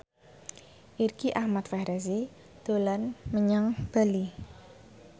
Irgi Ahmad Fahrezi dolan menyang Bali